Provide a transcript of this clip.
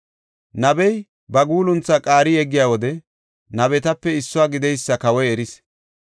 Nabey ba guulunthaa qaari yeggiya wode nabetape issuwa gideysa kawoy eris.